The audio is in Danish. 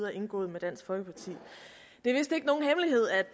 er indgået med dansk folkeparti